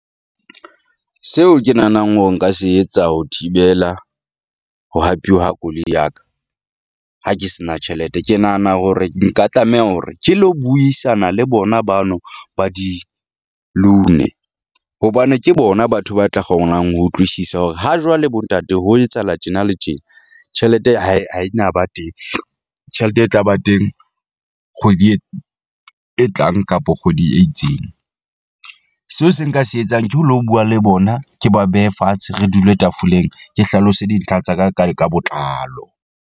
Seo ke nahanang hore nka se etsa ho thibela ho hapeuwa ha koloi ya ka ha ke se na tjhelete, ke nahana hore nka tlameha hore ke lo buisana le bona bano ba di-loan-e, hobane ke bona batho ba tla kgonang ho utlwisisa hore ha jwale bo ntate ho etsahala tjena le tjena. Tjhelete ha e ha e na ba teng tjhelete e tla ba teng kgwedi e, e tlang kapa kgwedi e itseng. Seo se nka se etsang ke ho lo bua le bona, ke ba behe fatshe. Re dule tafoleng, ke hlalose dintlha tsa ka ka ka botlalo.